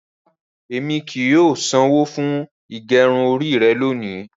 Rárá, ẹmi kí í ṣanwọ fún gẹrún orí rẹ̀ lóni.